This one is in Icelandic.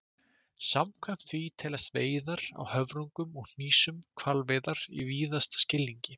Samkvæmt því teljast veiðar á höfrungum og hnísum hvalveiðar í víðasta skilningi.